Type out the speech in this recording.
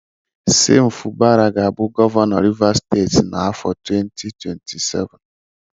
Sim Fubara ga-abụ gọvanọ Rivers steeti n'afọ 2027.